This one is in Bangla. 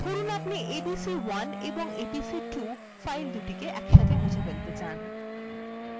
ধরুন আপনি abc1 এবং abc2 filesদুটি মুছে ফেলাত়ে চান